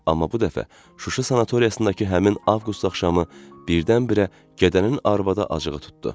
Amma bu dəfə Şuşa sanatoriyasındakı həmin Avqust axşamı birdən-birə gədənin arvada acığı tutdu.